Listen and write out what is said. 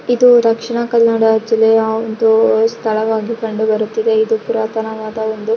ಇದು ದಕ್ಷಿಣ ಕನ್ನಡ ಜಿಲ್ಲೆಯ ಒಂದು ಸ್ಥಳವಾಗಿ ಕಂಡು ಬರುತ್ತಿದೆ ಇದು ಪುರಾತನವಾದ ಒಂದು--